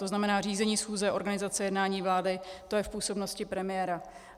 To znamená řízení schůze, organizace jednání vlády, to je v působnosti premiéra.